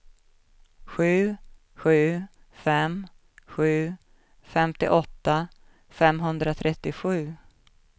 sju sju fem sju femtioåtta femhundratrettiosju